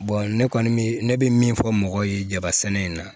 ne kɔni bɛ ne bɛ min fɔ mɔgɔw ye jabasɛnɛ in na